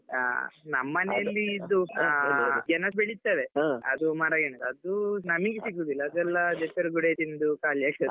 ಆ ನಮ್ಮ್ ಮನೇಲಿ ಇದು ಆ ಗೆಣಸು ಬೆಳೀತೇವೆ ಅದು ಮರಗೆಣಸು ಅದು ನಮಿಗೆ ಸಿಗುದಿಲ್ಲ ಅದೆಲ್ಲ ಅದೇ ಪೆರ್ಗುಡೆ ತಿಂದು ಖಾಲಿ ಆಗ್ತದೆ.